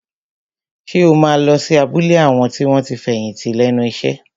Ṣé o máa lọ sí abúlé àwọn tí wọ́n ti fẹ̀yìntì lẹ́nu iṣẹ́?